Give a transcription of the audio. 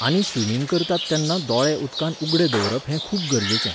आनी स्विमींग करतात तेन्ना दोळे उदकांत उगडे दवरप हें खूब गरजेचें.